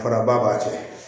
Faraba b'a cɛ